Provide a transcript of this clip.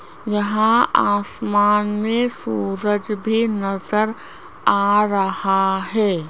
यहाँ आसमान में सूरज भी नजर आ रहा है।